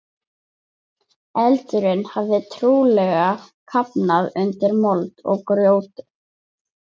Eldurinn hafði trúlega kafnað undir mold og grjóti.